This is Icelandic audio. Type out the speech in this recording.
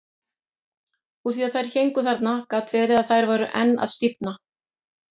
Úr því að þær héngu þarna gat verið að þær væru enn að stífna.